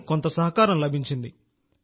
కానీ కొంత సహకారం లభించింది